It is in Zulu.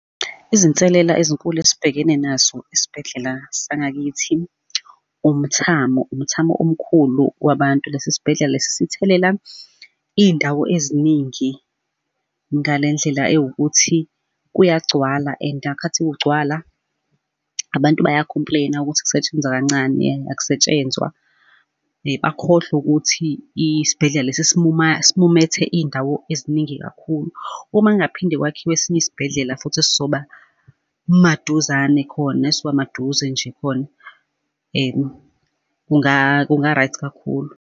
Izinselela ezinkulu esibhekene nazo esibhedlela sangakithi, umthamo, umthamo omkhulu wabantu, lesi sibhedlela lesi sithelela iy'ndawo eziningi ngale ndlela ewukuthi kuyagcwala and ngakhathi kugcwala abantu baya-complain-a ukuthi kusetshenzwa kancane akusetshenzwa. Akhohlwe ukuthi isibhedlela lesi esimumethe iy'ndawo eziningi kakhulu. Uma kungaphinde kwakhiwe esinye isibhedlela futhi esizoba maduzane khona esizoba maduze nje khona, kunga-right kakhulu.